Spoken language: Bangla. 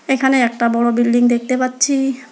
এখানে একটা বড় বিল্ডিং দেখতে পাচ্ছি।